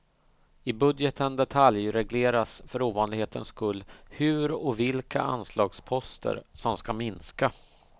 I budgeten detaljregleras för ovanlighetens skull hur och vilka anslagsposter som ska minska.